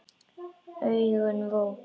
Augun vot.